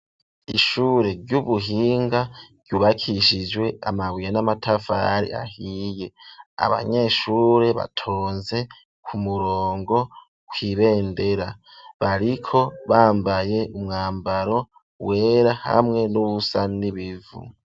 Ishure ry'ubuhinga ryubakishijwe amabuye n'amatafari ahiye, abanyeshure batonze ku murongo ku'ibendera bariko bambaye umwambaro wera hamwe n'uwusa n'ibivu.